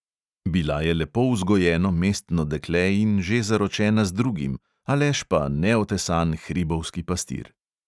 Bila je lepo vzgojeno mestno dekle in že zaročena z drugim, aleš pa neotesan hribovski pastir.